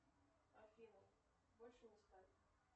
афина больше не ставь